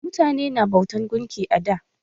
Mutane na bautan gunki a da.